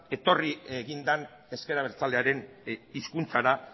etorri egin den ezker abertzalearen hizkuntzara